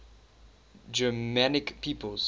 germanic peoples